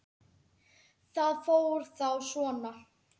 Það fór þá svona.